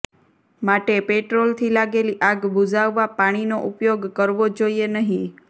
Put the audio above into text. માટે પેટ્રોલથી લાગેલી આગ બુઝાવવા પાણીનો ઉપયોગ કરવો જોઈએ નહીં